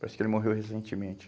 Parece que ele morreu recentemente.